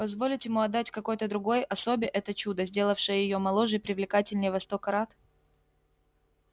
позволить ему отдать какой-то другой особе это чудо сделавшее её моложе и привлекательнее во сто крат